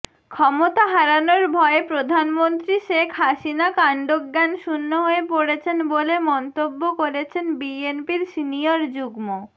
ক্ষমতা হারানোর ভয়ে প্রধানমন্ত্রী শেখ হাসিনা কান্ডজ্ঞানশুন্য হয়ে পড়েছেন বলে মন্তব্য করেছেন বিএনপির সিনিয়র যুগ্ম